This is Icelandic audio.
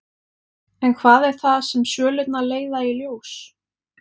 En hvað er það sem svölurnar leiða í ljós?